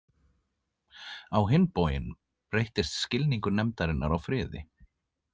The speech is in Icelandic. Á hinn bóginn breyttist skilningur nefndarinnar á friði.